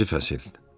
İkinci fəsil.